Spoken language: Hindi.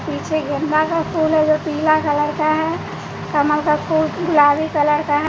पीछे गेंदा का फूल है जो पीला कलर का है कमल का फूल गुलाबी कलर का --